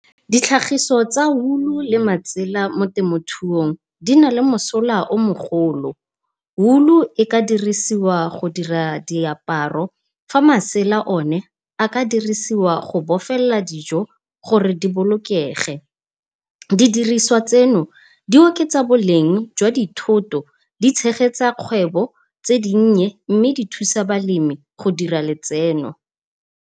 Ditlhagiso tsa wool-u le matsela mo temothung di na le mosola o mo golo. Wool-u e ka dirisiwa go dira diaparo fa masela one a ka dirisiwa go bofelela dijo gore di bolokege. Di diriswa tseno di oketsa boleng jwa dithoto, di tshegetsa kgwebo tse di nnye mme di thusa balemi go dira letseno.